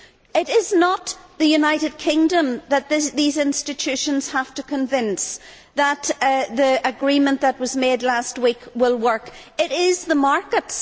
It is not the United Kingdom that these institutions have to convince that the agreement that was made last week will work it is the markets.